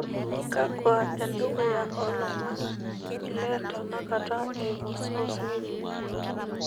kwakwa endukuya oo ilomon le tenakata eyimu source ng'ejuk